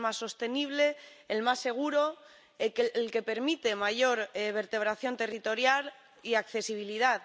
Es el más sostenible, el más seguro, el que permite mayor vertebración territorial y accesibilidad.